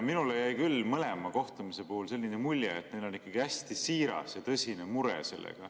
Minule jäi küll mõlema kohtumise puhul selline mulje, et neil on hästi siiras ja tõsine mure.